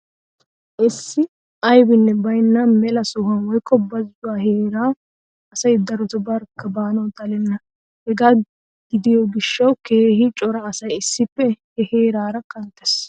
Issi aybinne baynna mela sohuwa woykko bazzuwa heeraa asay daroto barkka baanawu xalenna. Hegaa gidiyo gishshawu keehi cora asay issippe he heeraara kanttees.